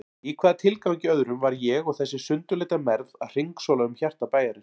Í hvaða tilgangi öðrum var ég og þessi sundurleita mergð að hringsóla um hjarta bæjarins?